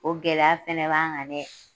O gɛlɛya fɛnɛ b'an kan dɛ.